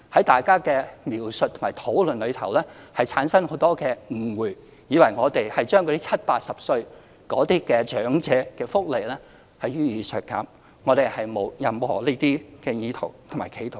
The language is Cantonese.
大家的描述和討論容易產生很多誤會，誤以為當局要削減70歲、80歲長者的福利，但我們並無這些意圖和企圖。